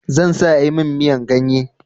Zan sa a yi min miyan ganye.